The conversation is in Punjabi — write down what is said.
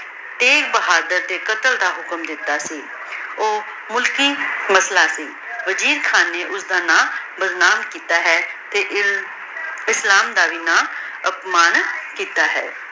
ਤੇਗ ਬਹਾਦੁਰ ਦੇ ਕਾਤਲ ਦਾ ਹੁਕਮ ਦਿਤਾ ਸੀ ਊ ਮੁਸ਼ਕਿਲ ਫੈਸਲਾ ਸੀ ਦਿਲਜੀਤ ਖਾਨ ਨੇ ਓਸਦਾ ਨਾਮ ਬਦਨਾਮ ਕੀਤਾ ਹੈ ਤੇ ਇਸਲਾਮ ਦਾ ਵੀ ਨਾਮ ਅਤ੍ਮਾਨਿਤ ਕੀਤਾ ਹੈ